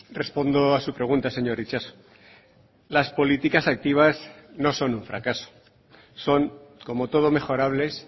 respondo a su pregunta señor itxaso las políticas activas no son un fracaso son como todo mejorables